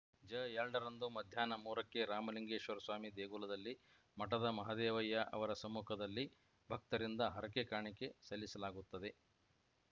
ಜಎರಡ ರಂದು ಮಧ್ಯಾಹ್ನ ಮೂರಕ್ಕೆ ರಾಮಲಿಂಗೇಶ್ವರಸ್ವಾಮಿ ದೇಗುಲದಲ್ಲಿ ಮಠದ ಮಹದೇವಯ್ಯ ಅವರ ಸಮ್ಮುಖದಲ್ಲಿ ಭಕ್ತರಿಂದ ಹರಕೆ ಕಾಣಿಕೆ ಸಲ್ಲಿಸಲಾಗುತ್ತದೆ